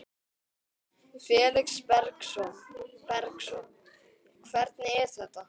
Felix Bergsson: Hvernig er þetta?